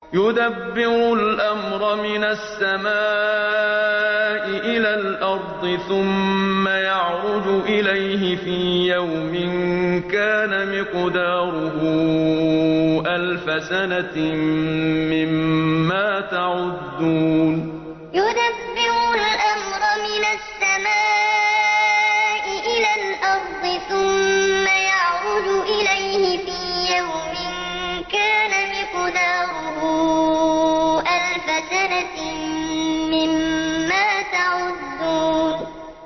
يُدَبِّرُ الْأَمْرَ مِنَ السَّمَاءِ إِلَى الْأَرْضِ ثُمَّ يَعْرُجُ إِلَيْهِ فِي يَوْمٍ كَانَ مِقْدَارُهُ أَلْفَ سَنَةٍ مِّمَّا تَعُدُّونَ يُدَبِّرُ الْأَمْرَ مِنَ السَّمَاءِ إِلَى الْأَرْضِ ثُمَّ يَعْرُجُ إِلَيْهِ فِي يَوْمٍ كَانَ مِقْدَارُهُ أَلْفَ سَنَةٍ مِّمَّا تَعُدُّونَ